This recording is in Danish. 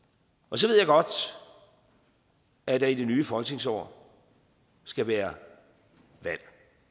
så ved jeg godt at der i det nye folketingsår skal være valg